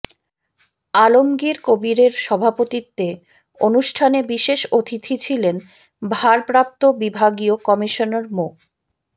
আলমগীর কবিরের সভাপতিত্বে অনুষ্ঠানে বিশেষ অতিথি ছিলেন ভারপ্রাপ্ত বিভাগীয় কমিশনার মো